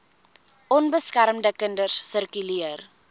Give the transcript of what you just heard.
onbeskermde kinders sirkuleer